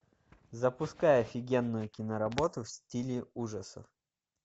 запускай офигенную киноработу в стиле ужасов